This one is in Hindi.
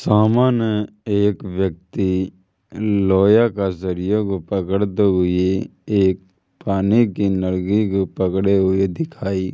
सामने एक व्यक्ति लोहिया का सरिया को पकड़ते हुई एक पानी की नलकीको पकड़े हुए दिखाई --